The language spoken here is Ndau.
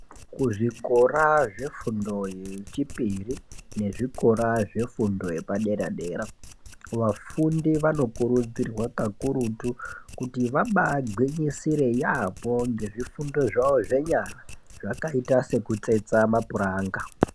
Kuzvikora zvefundo yechipiri nezvikora zvefundo yepadera-dera vafundi vakokurudzirwa kakurutu kuti vabaagwinyisire yaamho ngezvifundo zvawo zvenyara zvakaita sekutsetsa mapuranga.